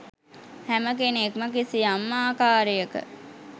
හැම කෙනෙක්ම කිසියම් ආකාරයක